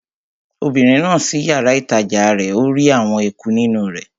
Obìnrin náà ṣí yàrá-ìtajà rẹ̀ ó rí àwọn eku nínú rẹ̀